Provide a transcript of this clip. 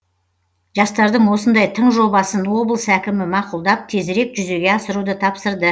жастардың осындай тың жобасын облыс әкімі мақұлдап тезірек жүзеге асыруды тапсырды